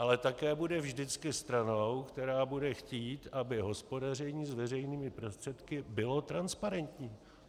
Ale také bude vždycky stranou, která bude chtít, aby hospodaření s veřejnými prostředky bylo transparentní.